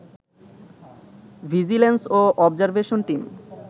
vigilance ও observation team